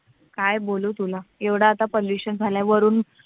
काय बोलू तुला एवढा तर pollution झालंय. वरून